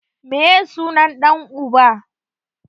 Meye sunan ɗan uba?